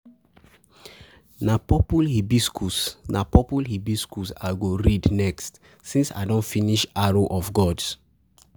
Na purple hibiscus Na purple hibiscus I go read next since I don finish arrow of gods.